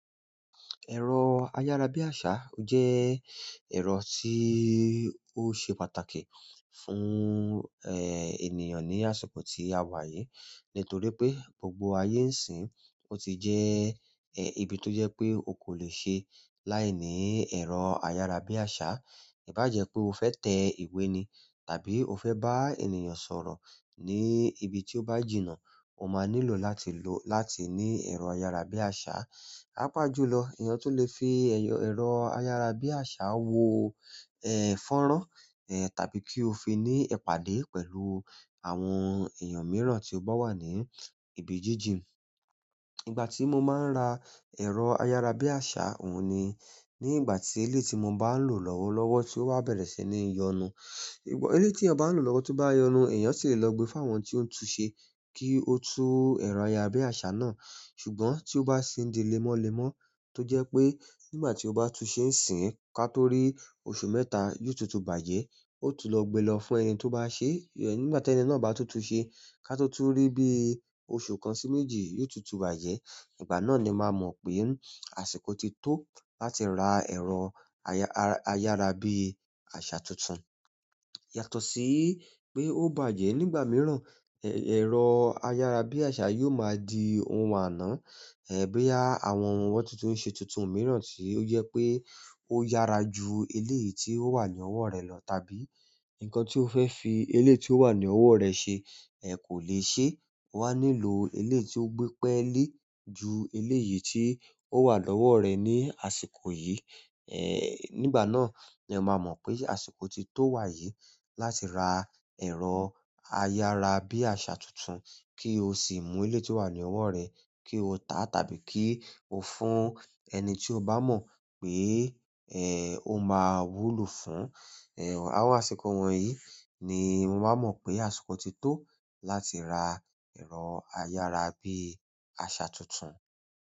Ẹ̀rọ ayárabíàṣá jẹ́ ẹ̀rọ tí ó ṣe pàtàkì fún, ènìyàn ní àsìkò tí a wà yìí, nítorí pé gbogbo ayé ń sìn. Ó ti jẹ́, ibi tó jẹ́ pé o kò lè ṣe láìní ẹ̀rọ ayárabíàṣá. Íbàjẹ́ pé o fẹ́ tẹ ìwé ni tàbí o fẹ́ bá ènìyàn sọ̀rọ̀ ní ibi tí ó bá jìnnà, o máa nílò láti lo-- láti ní ẹ̀rọ ayárabíàṣá. Papàjùlọ, èèyàn tun lè fi ẹyọ-- ẹ̀rọ ayárabíàṣá wo, fọ́nrán, tàbí kí ó fi ní ìpàdé pẹ̀lú àwọn èèyàn mìíràn tí ó bá wà ní ibi jíjìn. Ìgbà tí mo máa ń ra ẹ̀rọ ayárabíàṣá òun ni, ní ìgbà tí elé tí mo bá ń lò lọ́wọ́lọ́wọ́ tí ó bá bẹ̀rẹ̀ sí ní yọnu. Eléyìí tí èèyàn bá ń lò lọ́wọ́ tó bá yọnu, èèyàn sì lè lọ gbé fún àwọn tí ó ń tun ṣe kí ó tú ẹ̀rọ ayárabíàṣá náà. Ṣùgbọ́n tí ó bá sì ń di lẹ́mọ́lẹ́mọ́ tó jẹ́ pé nígbà tí ó bá tu ṣe ń sìn ká tó rí oṣù mẹ́ta, yóò tutù bàjẹ́. Ó tún lọ́ gbé lọ fún ẹni tó bá ṣe, nígbà tí ẹni náà bá tutù ṣe ká tó túń rí bí i oṣù kan sí méjì yóò tutù bàjẹ́. Ìgbà náà le má mo pe àsìkò tí to láti ra ẹrọ ayarabiasa tuntun yàtọ̀ sí pé ó bàjẹ́ nígbà mìíràn, ẹ-ẹ̀rọ ayárabíàṣá yóò máa di ohun àná, bí àwọn òwò tuntun ń ṣe tuntun mìíràn tí ó jẹ́ pé ó yára ju ilé yìí tí ó wà ní ọwọ́ rẹ lọ tàbí nǹkan tí ó fẹ́ se eléyi tí ó wà ní ọwọ́ rẹ ṣe, kò lè ṣe. O wà nílò eléyi tí ó gbé pẹ́lé ju ilé yìí tí ó wà lọ́wọ́ rẹ ní àsìkò yìí. Nígbà náà ni e máa mọ̀ pé àsìkò ti tó wà yìí láti ra ẹ̀rọ ayárabíàṣá tuntun kí o sì mú elé tí ó wà ní ọwọ́ rẹ kí o tà á tàbí kí o fún ẹni tí o bá mọ̀ pé, ó máa wúlò fún. Àwọn àsìkò wọ̀nyí ni mo máa mọ̀ pé àsìkò ti tó láti ra ẹ̀rọ ayárabíàṣá tuntun.